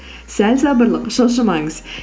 сәл сабырлық шошымаңыз